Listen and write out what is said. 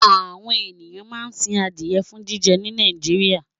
Àwọn ènìyàn máa ń sin adìẹ fún jíjẹ ní Nàìjíríà.